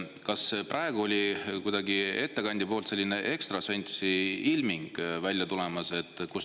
Kas praegu oli kuidagi ettekandja poolt selline ekstrasensiilming välja tulemas?